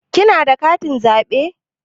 Kina da katin zaɓe?